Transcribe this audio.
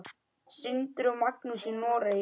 Sindri og Magnús í Noregi.